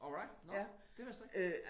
Alright nåh det vidste jeg ikke